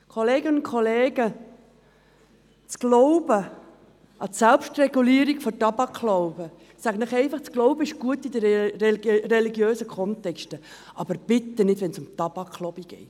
Kolleginnen und Kollegen, der Glaube an eine Selbstregulierung mag im religiösen Kontext gut sein, aber nicht wenn es um die Tabak-Lobby geht.